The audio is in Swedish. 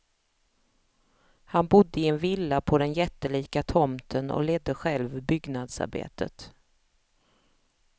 Han bodde i en villa på den jättelika tomten och ledde själv byggnadsarbetet.